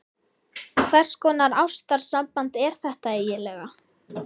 Hvers konar ástarsamband er þetta eiginlega?